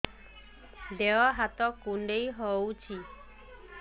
ଦେହ ହାତ କୁଣ୍ଡାଇ ହଉଛି